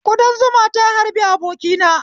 Kudan zuma ta harbi abokina